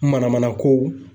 Manamana kow.